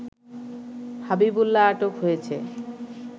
হাবিবুল্লাহ আটক হয়েছে